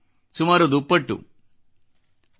ಸುಮಾರು ದುಪ್ಪಟ್ಟು ಸಂಖ್ಯೆ